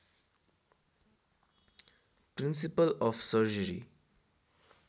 principal of surgery